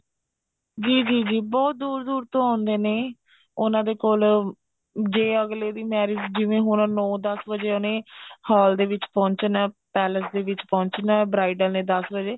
ਜੀ ਜੀ ਜੀ ਬਹੁਤ ਦੂਰ ਦੂਰ ਤੋਂ ਆਉਂਦੇ ਨੇ ਉਹਨਾ ਦੇ ਕੋਲ ਜੇ ਅਗਲੇ ਦੀ marriage ਹੁਣ ਨੋ ਦਸ ਵਜੇ ਉਹਨੇ ਹਾਲ ਦੇ ਵਿੱਚ ਪਹੁੰਚਣਾ palace ਦੇ ਵਿੱਚ ਪਹੁੰਚਣਾ bridal ਨੇ ਦਸ ਵਜੇ